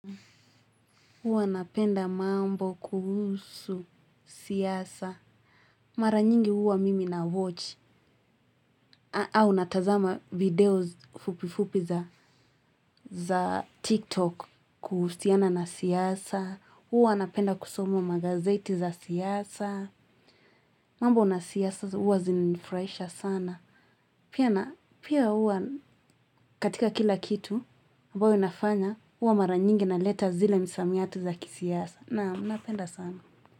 Huwa napenda mambo kuhusu siasa. Mara nyingi huwa mimi na watch. Au natazama video fupi fupi za tiktok kuhusiana na siasa. Huwa napenda kusoma magazeti za siasa. Mambo na siasa huwa zinanifurahisha sana. Pia huwa katika kila kitu, ambayo nafanya, huwa mara nyingi naleta zile msamiati za kisiasa. Naam, napenda sana.